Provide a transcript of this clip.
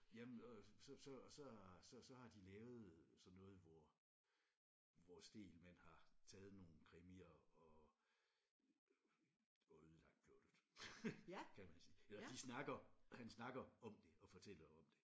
Jamen så så så så så har de lavet sådan noget hvor hvor Stegelmann har taget nogle krimier og og ødelagt plottet kan man sige eller de snakker han snakker om det og fortæller om det